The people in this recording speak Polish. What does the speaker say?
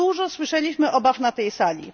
Dużo słyszeliśmy obaw na tej sali.